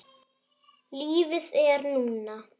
Lífið er núna.